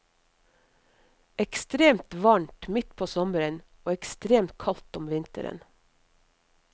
Ekstremt varmt midt på sommeren, og ekstremt kaldt om vinteren.